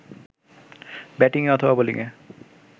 ব্যাটিংয়ে অথবা বোলিংএ